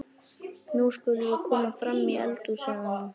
Nú skulum við koma fram í eldhús, sagði hún.